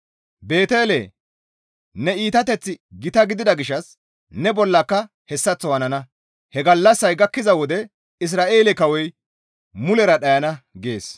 Beetele! Ne iitateththi gita gidida gishshas ne bollaka hessaththo hanana; he gallassaya gakkiza wode Isra7eele kawoy mulera dhayana» gees.